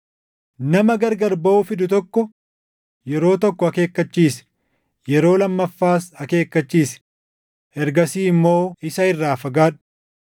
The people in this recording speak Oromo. Nama gargar baʼuu fidu tokko yeroo tokko akeekkachiisi; yeroo lammaffaas akeekkachiisi. Ergasii immoo isa irraa fagaadhu.